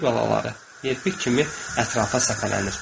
Pişik balaları yelpik kimi ətrafa səpələnir.